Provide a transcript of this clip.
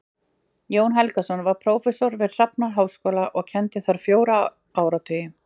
Jón Helgason var prófessor við Hafnarháskóla og kenndi þar fjóra áratugi.